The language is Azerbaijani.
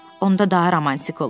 Onda daha romantik olur.